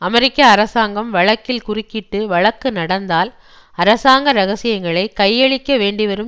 அமெரிக்க அரசாங்கம் வழக்கில் குறுக்கிட்டு வழக்கு நடந்தால் அரசாங்க இரகசியங்களை கையளிக்கவேண்டிவரும்